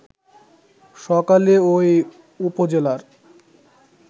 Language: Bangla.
সকালে ওই উপজেলার